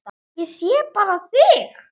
Ég sé bara þig!